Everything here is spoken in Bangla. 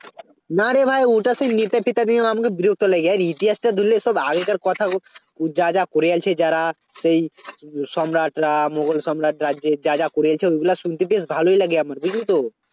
না রে ভাই ওটাতে নেতা ফেতাদের আমার বিরক্ত লেগে যায় ইতিহাসটা ধরলে সব আগেকার কথা ও ওর যা যা করে আনছে যারা সেই সম্রাটরা মোগল সম্রাট রাজ্যের যা যা করেছে ওইগুলা শুনতে বেশ ভালই লাগে আমার বুঝলি তো